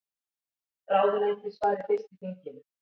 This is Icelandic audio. Ráðuneyti svari fyrst í þinginu